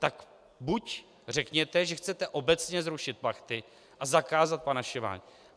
Tak buď řekněte, že chcete obecně zrušit plachty a zakázat panašování.